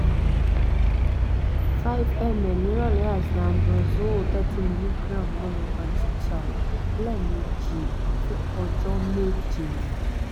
five ml ní ìrọ̀lẹ́ àti ambroxol thirty milligram one over two tab lẹ́ẹ̀mejì fún ọjọ́ méje